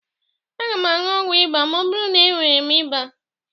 Aga m aṅụ ọgwụ ịba ma ọ bụrụ na enwere m ịba.